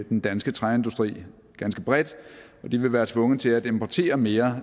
den danske træindustri ganske bredt og de vil være tvunget til at importere mere